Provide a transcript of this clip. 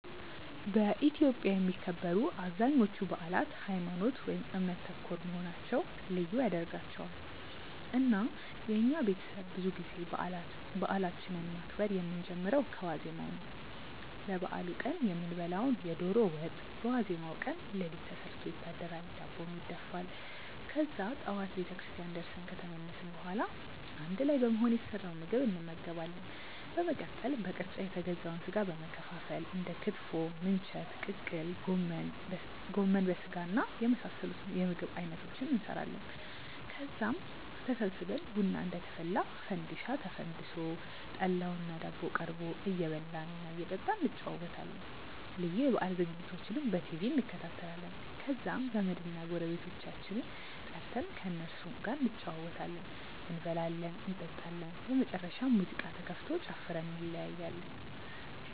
በኢትዮጵያ የሚከበሩ አብዛኞቹ በአላት ሀይማኖት ( እምነት) ተኮር መሆናቸው ልዩ ያደርጋቸዋል። እና የኛ ቤተሰብ ብዙ ጊዜ በአላችንን ማክበር የምንጀምረው ከዋዜማው ነው። ለበአሉ ቀን የምንበላውን የዶሮ ወጥ በዋዜማው ቀን ሌሊት ተሰርቶ ይታደራል፤ ዳቦም ይደፋል። ከዛ ጠዋት ቤተክርስቲያን ደርሰን ከተመለስን በኋላ አንድ ላይ በመሆን የተሰራውን ምግብ እንመገባለን። በመቀጠል በቅርጫ የተገዛውን ስጋ በመከፋፈል እንደ ክትፎ፣ ምንቸት፣ ቅቅል፣ ጎመን በስጋና የመሳሰሉት የምግብ አይነቶችን እንሰራለን። ከዛም ተሰብስበን ቡና እየተፈላ፣ ፈንዲሻ ተፈንድሶ፣ ጠላውና ዳቦው ቀርቦ እየበላን እና እየጠጣን እንጨዋወታለን። ልዩ የበአል ዝግጅቶችንም በቲቪ እንከታተላለን። ከዛም ዘመድና ጎረቤቶቻችንን ጠርተን ከእነሱም ጋር እንጨዋወታለን፤ እንበላለን እንጠጣለን። በመጨረሻም ሙዚቃ ተከፍቶ ጨፍረን እንለያያለን።